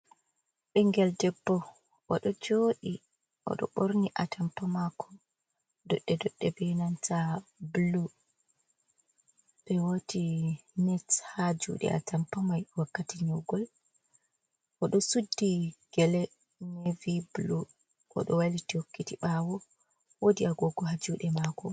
Ɓengel, debbo o ɗo jooɗii, o ɗo ɓorni a tampa makko doɗɗe-doɗɗe bee nanta bulu, ɓe waati net haa juuɗe a tampa mai wakkati nyegol, o ɗo suddi gele neviy bulu, o ɗo wailiti hokkiti ɓaawo, woodi agogo haa juuɗe maako.